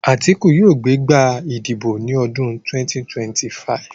Àtíkù yóò gbé gbá ìdìbò ní ọdún 2025